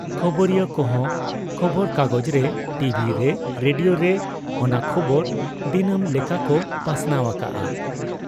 ᱠᱷᱚᱵᱚᱨᱤᱭᱟᱹ ᱠᱚᱦᱚᱸ ᱠᱷᱚᱵᱚᱨᱠᱟᱜᱚᱡᱽ ᱨᱮ, ᱴᱤᱵᱷᱤᱨᱮ, ᱨᱮᱰᱤᱭᱳᱨᱮ ᱚᱱᱟ ᱠᱷᱚᱵᱚᱨ ᱫᱤᱱᱟᱹᱢ ᱞᱮᱠᱟᱠᱚ ᱯᱟᱥᱱᱟᱣ ᱟᱠᱟᱜ ᱟ ᱾